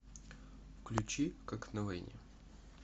включи как на войне